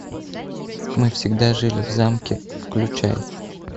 мы всегда жили в замке включай